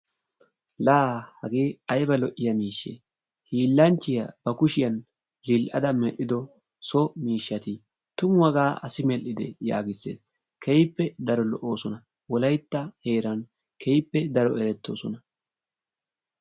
laa hage ayba lo'iyaabee, hiilanchiya,, kushiyan oyqada medhido so miishati, tumu hagaa assi medhidee, keehippe daro lo'oosona. wolaytta heeran, keehippe daro de'oosona.